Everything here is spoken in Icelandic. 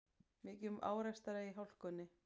Mikið um árekstra í hálkunni